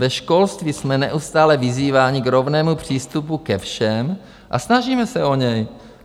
Ve školství jsme neustále vyzýváni k rovnému přístupu ke všem a snažíme se o něj.